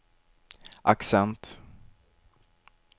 accent